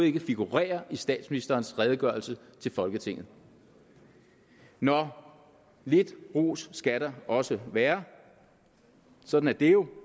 ikke figurerer i statsministerens redegørelse til folketinget nå lidt ros skal der også være sådan er det jo